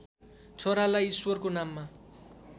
छोरालाई ईश्वरको नाममा